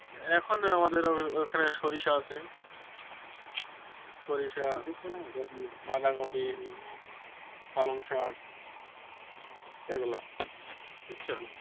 এখন আমাদের ওখানে সরিষা আছে বাঁধাকপি পালং শাক এগুলা বুঝছো,